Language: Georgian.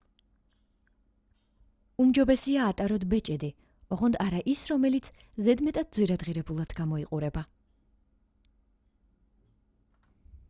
უმჯობესია ატაროთ ბეჭედი ოღონდ არა ის რომელიც ზედმეტად ძვირადღირებულად გამოიყურება